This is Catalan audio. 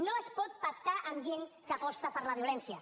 no es pot pactar amb gent que aposta per la violència